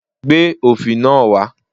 Gbé òfì náà wá!